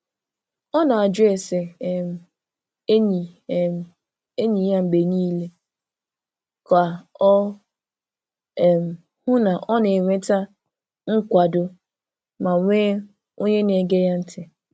Ọ na-ajụ ese um enyi um enyi ya mgbe niile ka o um hụ na ọ na-enweta nkwado ma nwee onye na-ege ya ntị.